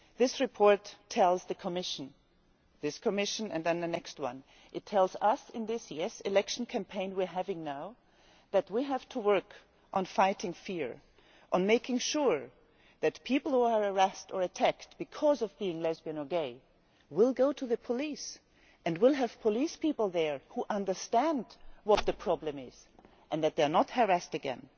that. This report tells the Commission this Commission and the next and it tells us, in this year's election campaign, that we have to work on fighting fear, on making sure that people who are harassed or attacked because they are lesbian or gay will go to the police, that they will have police officers there who understand what the problem is, and that they are not harassed again.